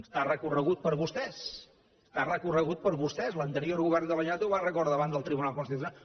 està recorregut per vostès està recorregut per vostès l’anterior govern de la generalitat ho va recórrer davant el tribunal constitucional